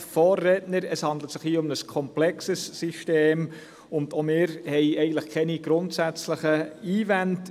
Es handelt sich um ein komplexes System, und auch wir haben keine grundsätzlichen Einwände.